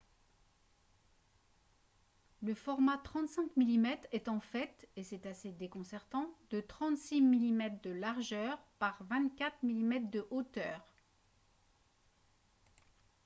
le format 35 mm est en fait et c'est assez déconcertant de 36 mm de largeur par 24 mm de hauteur